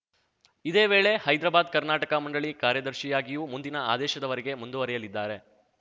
ಇದೇ ವೇಳೆ ಹೈದ್ರಾಬಾದ್ಕರ್ನಾಟಕ ಮಂಡಳಿ ಕಾರ್ಯದರ್ಶಿಯಾಗಿಯೂ ಮುಂದಿನ ಆದೇಶದವರೆಗೆ ಮುಂದುವರೆಯಲಿದ್ದಾರೆ